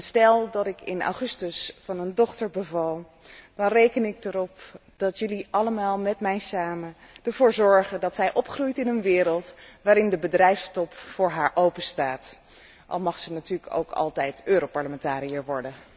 Stel dat ik in augustus van een dochter beval, dan reken ik erop dat jullie allemaal met mij samen ervoor zorgen dat zij opgroeit in een wereld waarin de bedrijfstop voor haar openstaat, al mag ze natuurlijk ook altijd europarlementariër worden.